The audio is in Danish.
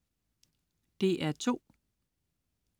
DR2: